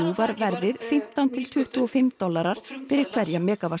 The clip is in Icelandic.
var verðið fimmtán til tuttugu og fimm dollarar fyrir hverja